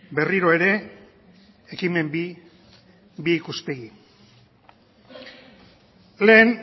berriro ere ekimen bi bi ikuspegi lehen